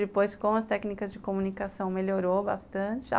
Depois, com as técnicas de comunicação, melhorou bastante.